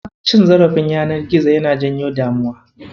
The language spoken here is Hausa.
Cin zarafin yanar gizo yana janyo damuwa.